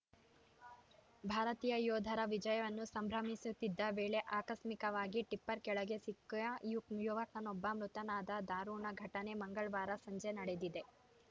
ಭಾರತೀಯ ಯೋಧರ ವಿಜಯವನ್ನು ಸಂಭ್ರಮಿಸುತ್ತಿದ್ದ ವೇಳೆ ಆಕಸ್ಮಿಕವಾಗಿ ಟಿಪ್ಪರ್‌ ಕೆಳಗೆ ಸಿಕ್ಕು ಯುವಕನೊಬ್ಬ ಮೃತನಾದ ದಾರುಣ ಘಟನೆ ಮಂಗಳವಾರ ಸಂಜೆ ನಡೆದಿದೆ